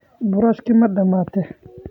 Boorashkii ma dhammaatay?